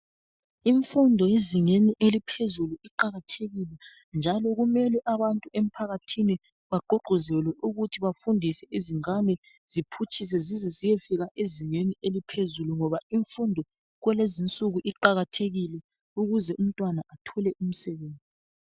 Imfundo ezingeni eliphezulu iqakathekile njalo kumele abantu emphakathini baqhuqhuzele ukuthi bafundise izingane ziphutshise zizeziyefika ezingeni eliphezulu ngoba imfundo kwalezinsuku iqakathekile ukuze umntwana athole umsebenzi.